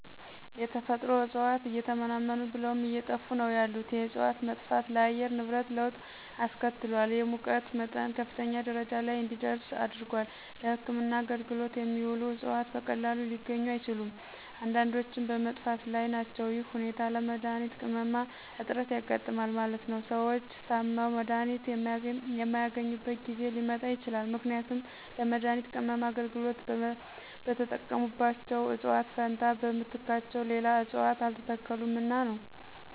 የተፈጥሮ እጽዋት እየተመናመኑ ብለውም አየጠፉ ነው ያሉት የእጽዋት መጥፋት ለአየር ንብረት ለወጥ አስከትሏል የሙቀት መጠን ከፍተኛ ደረጃ ለይ እንዲደርስ አድርጓል። ለህክምና አገልግሎት የሚውሉት እጽዋት በቀላሉ ሊገኙ አይችሉም። አንዳንዶችም በመጥፋት ላይ ናቸው ይህ ሁኔታ ለመድሀኒት ቅመማ እጥረት ያጋጥማል ማለት ነው። ሰዎች ታመው መድሀኒት የማያገኙበት ጊዜ ሊመጣ ይችላል ምክንያቱም ለመድሀኒት ቅመማ አገልግሎት በተጠቀሙባቸው እጽዋት ፈንታ በምትካቸው ሌላ እጽዋት አልተተከሉምና ነው።